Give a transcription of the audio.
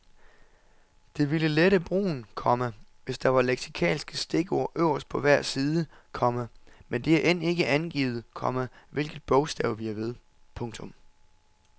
Det ville lette brugen, komma hvis der var leksikalske stikord øverst på hver side, komma men det er end ikke angivet, komma hvilket bogstav vi er ved. punktum